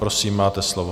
Prosím, máte slovo.